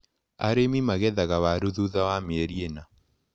Arĩmi magethaga waru thutha wa mĩeri ĩna.